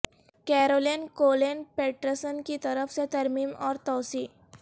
Caroline Colleen Peterson کی طرف سے ترمیم اور توسیع